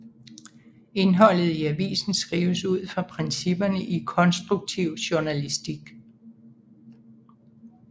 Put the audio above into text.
Indholdet i avisen skrives ud fra principperne i konstruktiv journalistik